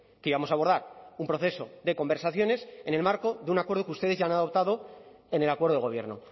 que íbamos a abordar un proceso de conversaciones en el marco de un acuerdo que ustedes ya han adoptado en el acuerdo de gobierno